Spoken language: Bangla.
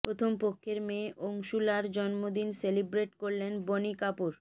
প্রথম পক্ষের মেয়ে অংশুলার জন্মদিন সেলিব্রেট করলেন বনি কাপুর